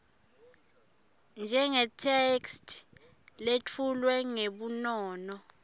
njengetheksthi letfulwe ngebunono